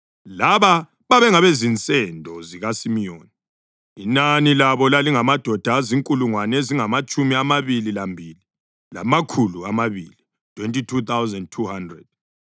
Laba babengabezinsendo zikaSimiyoni; inani labo lalingamadoda azinkulungwane ezingamatshumi amabili lambili, lamakhulu amabili (22,200).